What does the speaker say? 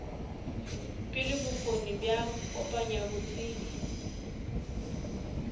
pele bokgoni bja kopanya botsebi